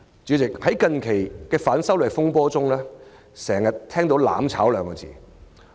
主席，在近日的反修例風波中，經常聽到"攬炒"二字。